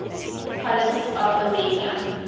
politics of armenia